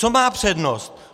Co má přednost?